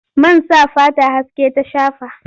Man sa fata haske ta shafa.